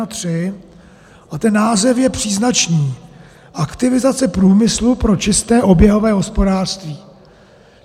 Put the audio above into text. A ten název je příznačný: Aktivizace průmyslu pro čisté oběhové hospodářství.